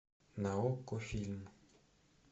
на окко фильм